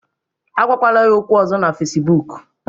Agwakwala ya okwu ọzọ na Facibụkụ